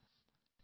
വരൂ